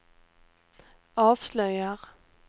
avslöjar